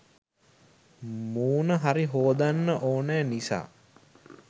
මූණ හරි හෝදන්න ඕනෑ නිසා